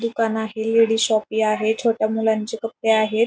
दुकान आहे ladies shop ही आहे छोट्या मुलांचे कपडे आहेत.